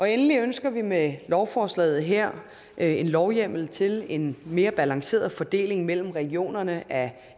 endelig ønsker vi med lovforslaget her en lovhjemmel til en mere balanceret fordeling mellem regionerne af